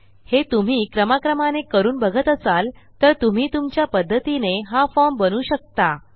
हे तुम्ही क्रमाक्रमाने करून बघत असाल तर तुम्ही तुमच्या पध्दतीने हा फॉर्म बनवू शकता